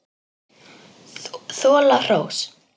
Þola hrós.